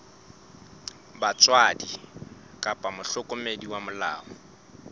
batswadi kapa mohlokomedi wa molao